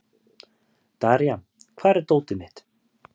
Daría, hvar er dótið mitt?